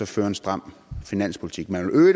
føre en stram finanspolitik man vil øge